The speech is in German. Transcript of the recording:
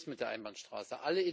Schluss mit der Einbahnstraße!